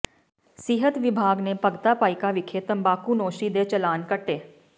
ਸਿਹਤ ਵਿਭਾਗ ਨੇ ਭਗਤਾ ਭਾਈਕਾ ਵਿਖੇ ਤੰਬਾਕੂਨੋਸ਼ੀ ਦੇ ਚਲਾਨ ਕੱਟੇ